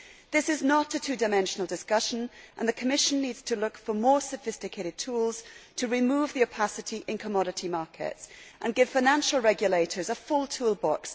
This is not a two dimensional discussion, and the Commission needs to look for more sophisticated tools to remove the opacity in commodity markets and give financial regulators a full toolbox.